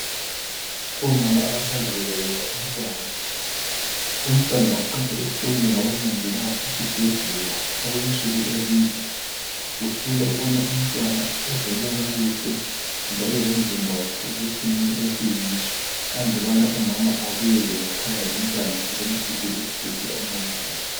Omama abasanda kubeletha umntwana, umntwana uqala ehlolwe ngabomongikazi esibhedlela okwensuku ezimbili kuhlolwa ukubana umntwana uzelwe kakuhle njalo lomzimba wakhe usesimeni esiyiso andubana umama abuyele ngekhaya lomntwana sebemkiphile esibhedlela omongikazi.